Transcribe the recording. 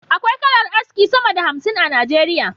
Akwai kalar aski sama da hamsin a nigeria